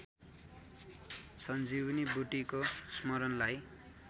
सञ्जीवनी बुट्टीको स्मरणलाई